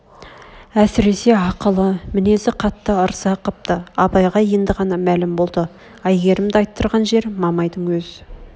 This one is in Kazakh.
әсресе ақылы мінез қатты ырза қыпты абайға енді ғана мәлім болды әйгерімді айттырған жер мамайдың өз